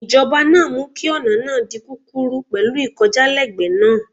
Ìjọba náà mú kí ọ̀nà náà di kúkúrú pẹ̀lú ìkọjálẹ́gbẹ̀ẹ́ náà.